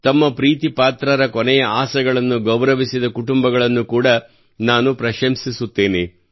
ತಮ್ಮ ಪ್ರೀತಿಪಾತ್ರರ ಕೊನೆಯ ಆಸೆಗಳನ್ನು ಗೌರವಿಸಿದ ಕುಟುಂಬಗಳನ್ನು ಕೂಡ ನಾನು ಪ್ರಶಂಸಿಸುತ್ತೇನೆ